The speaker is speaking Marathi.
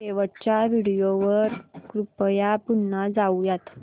शेवटच्या व्हिडिओ वर कृपया पुन्हा जाऊयात